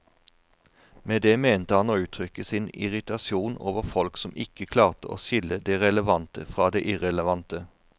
Med det mente han å uttrykke sin irritasjon over folk som ikke klarte å skille det relevante fra det irrelevante.